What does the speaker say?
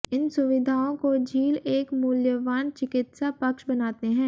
इन सुविधाओं को झील एक मूल्यवान चिकित्सा पक्ष बनाते हैं